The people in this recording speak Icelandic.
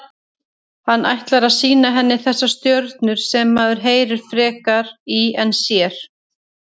Hann ætlar að sýna henni þessar stjörnur sem maður heyrir frekar í en sér.